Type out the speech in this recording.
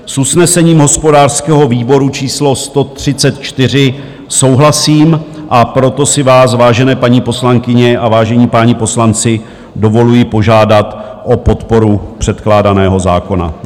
S usnesením hospodářského výboru číslo 134 souhlasím, a proto si vás, vážené paní poslankyně a vážení páni poslanci, dovoluji požádat o podporu předkládaného zákona.